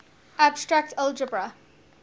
abstract algebra